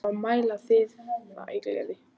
Það á að mæla það í gleði.